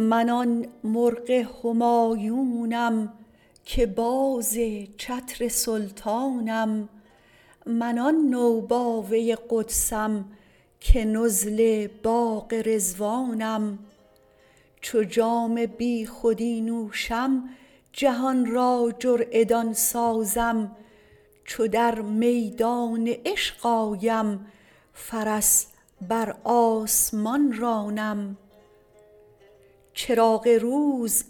من آن مرغ همایونم که باز چتر سلطانم من آن نوباوه ی قدسم که نزل باغ رضوانم چو جام بیخودی نوشم جهانرا جرعه دان سازم چو در میدان عشق آیم فرس بر آسمان رانم چراغ روز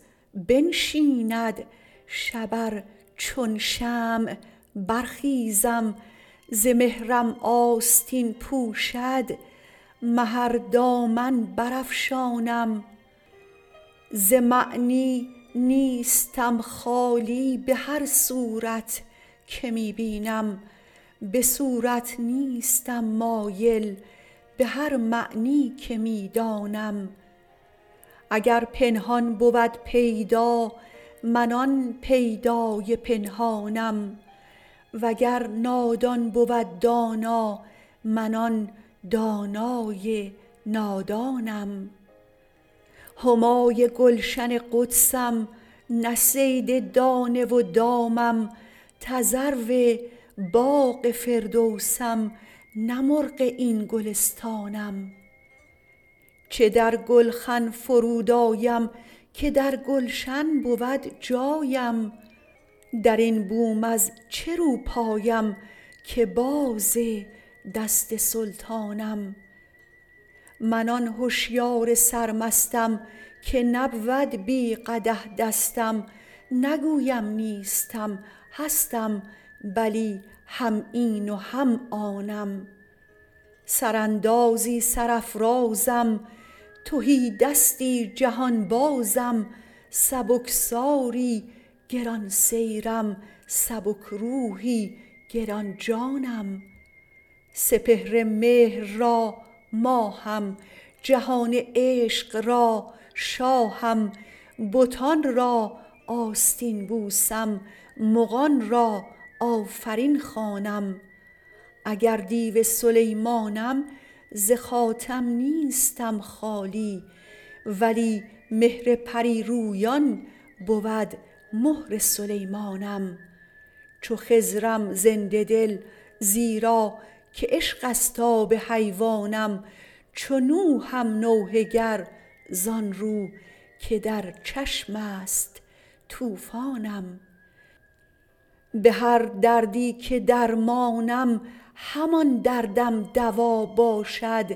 بنشیند شب ار چون شمع برخیزم ز مهرم آستین پوشد مه ار دامن بر افشانم ز معنی نیستم خالی بهر صورت که می بینم بصورت نیستم مایل بهر معنی که می دانم اگر پنهان بود پیدا من آن پیدای پنهانم وگر نادان بود دانا من آن دانای نادانم همای گلشن قدسم نه صید دانه و دامم تذرو باغ فردوسم نه مرغ این گلستانم چه در گلخن فرود آیم که در گلشن بود جایم درین بوم از چه روپایم که باز دست سلطانم من آن هشیار سرمستم که نبود بی قدح دستم نگویم نیستم هستم بلی هم این و هم آنم سراندازی سر افرازم تهی دستی جهان بازم سبکساری گران سیرم سبک روحی گرانجانم سپهر مهر را ماهم جهان عشق را شاهم بتانرا آستین بوسم مغانرا آفرین خوانم اگر دیو سلیمانم ز خاتم نیستم خالی ولی مهر پری رویان بود مهر سلیمانم چو خضرم زنده دل زیرا که عشقست آب حیوانم چو نوحم گر زانرو که در چشمست طوفانم بهر دردی که درمانم همان دردم دوا باشد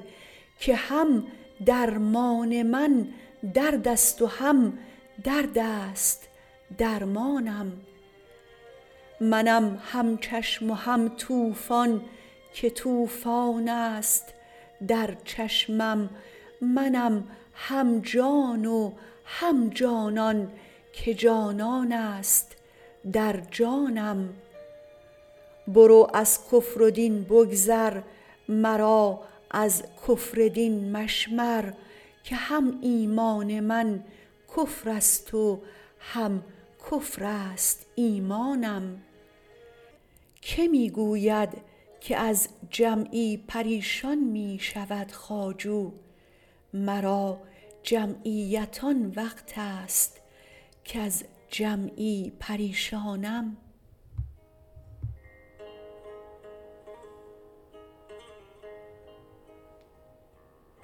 که هم درمان من دردست و هم دردست درمانم منم هم چشم و هم طوفان که طوفانست در چشمم منم هم جان و هم جانان که جانانست در جانم برو از کفر و دین بگذر مرا از کفر دین مشمر که هم ایمان من کفرست و هم کفرست ایمانم که می گوید که از جمعی پریشان می شود خواجو مرا جمعیت آن وقتست کز جمعی پریشانم